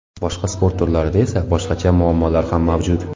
Boshqa sport turlarida esa boshqacha muammolar ham mavjud.